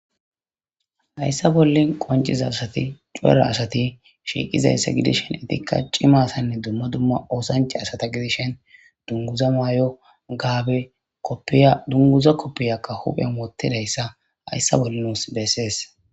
hayssa bolle qonciza asati cuera asati shiiqizayssa gidishen etikka cimasanne dumma dumma oosance asata gidishen dunguza maay7o gaabe ydunguza koppiyakka huphen wottidayssa hayssa bolle nuus besees